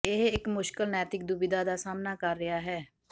ਇਹ ਇੱਕ ਮੁਸ਼ਕਲ ਨੈਤਿਕ ਦੁਬਿਧਾ ਦਾ ਸਾਹਮਣਾ ਕਰ ਰਿਹਾ ਹੈ